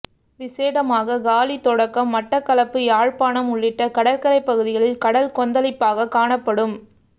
விசேடமாக காலி தொடக்கம் மட்டக்களப்பு யாழ்ப்பாணம் உள்ளிட்ட கடற்கரை பகுதிகள் கடல் கொந்தளிப்பாக காணப்படும்